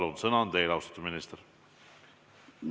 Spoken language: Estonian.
Palun, sõna on teil, austatud minister!